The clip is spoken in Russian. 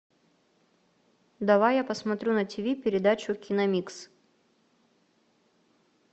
давай я посмотрю на тиви передачу киномикс